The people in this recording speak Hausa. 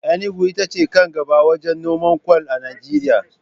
Enugu ita ce kan gaɓa wajen noman kwal a Najeriya.